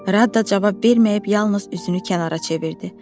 Rada cavab verməyib yalnız üzünü kənara çevirdi.